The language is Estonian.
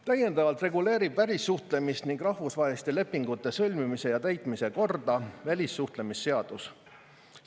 Täiendavalt reguleerib välissuhtlemist ning rahvusvaheliste lepingute sõlmimise ja täitmise korda välissuhtlemisseadus.